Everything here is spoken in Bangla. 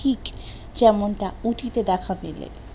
যেমনটা উটি তে দেখা দিলে